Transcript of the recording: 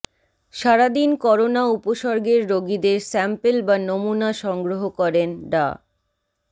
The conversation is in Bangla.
সারাদিন করোনা উপসর্গের রোগীদের স্যাম্পল বা নমুনা সংগ্রহ করেন ডা